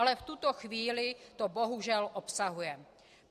Ale v tuto chvíli to bohužel obsahuje.